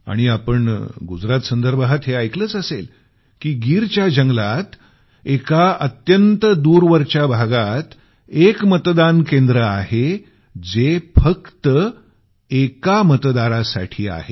आणि आपण गुजरात संदर्भात हे ऐकलंच असेल की गीरच्या जंगलात एका अत्यंत दूरवरच्या भागात एक मतदान केंद्र आहे जे फक्त एका मतदारासाठी आहे